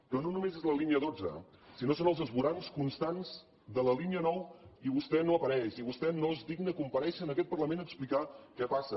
però no només és la línia dotze sinó que són els esvorancs constants de la línia nou i vostè no apareix i vostè no es digna a comparèixer en aquest parlament a explicar què passa